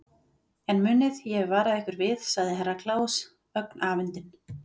En munið, ég hef varað ykkur við, sagði Herra Kláus ögn afundinn.